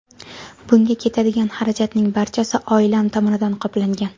Bunga ketadigan xarajatning barchasi oilam tomonidan qoplangan.